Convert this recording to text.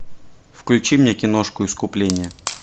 включи мне киношку искупление